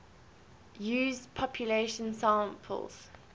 used population samples